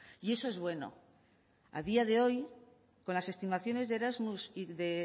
y eso es bueno a día de hoy con las estimaciones de erasmus y de